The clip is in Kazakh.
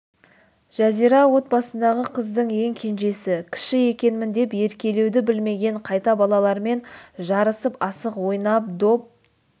жазира отбасындағы қыздың ең кенжесі кіші екенмін деп еркелеуді білмеген қайта балалармен жарысып асық ойнап доп